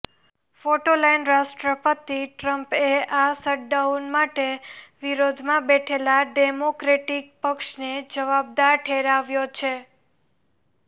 photo line રાષ્ટ્રપતિ ટ્રમ્પએ આ શટડાઉન માટે વિરોધમાં બેઠેલા ડેમોક્રેટિક પક્ષને જવાબદાર ઠેરવ્યો છે